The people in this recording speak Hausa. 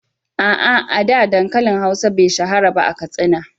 A’a, a da, dankalin hausa be shahara ba a Katsina.